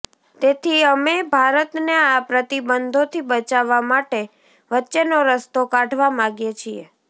તેથી અમે ભારતને આ પ્રતિબંધોથી બચાવવા માટે વચ્ચેનો રસ્તો કાઢવા માગીએ છીએ